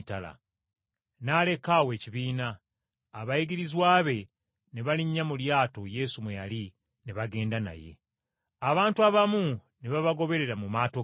N’aleka awo ekibiina, abayigirizwa be ne balinnya mu lyato Yesu mwe yali ne bagenda naye. Abantu abamu ne babagobera mu maato agaabwe.